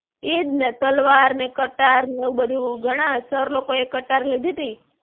ઈજ ને તલવાર ને કટાર ને એવું બધું ઘણા sir લોકોએ કટાર લીધી તી.